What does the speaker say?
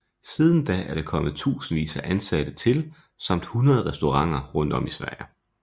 Siden da er der kommet tusindvis af ansatte til samt 100 restauranter rundt om i Sverige